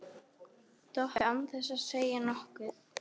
Doppu án þess að segja nokkuð.